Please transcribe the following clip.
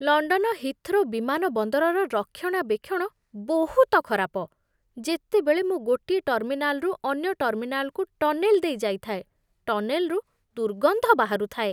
London Heathrow ବିମାନ ବନ୍ଦରର ରକ୍ଷଣାବେକ୍ଷଣ ବହୁତ ଖରାପ। ଯେତେବେଳେ ମୁଁ ଗୋଟିଏ ଟର୍ମିନାଲରୁ ଅନ୍ୟ ଟର୍ମିନାଲକୁ ଟନେଲ୍ ଦେଇ ଯାଇଥାଏ, ଟନେଲ୍‌ରୁ ଦୁର୍ଗନ୍ଧ ବାହାରୁଥାଏ।